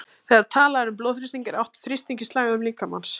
Þegar talað er um blóðþrýsting er átt við þrýstinginn í slagæðum líkamans.